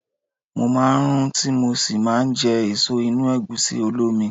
Mo máa ń rún tí mo sì máa jẹ èso inú Ẹ̀gúsí olómi.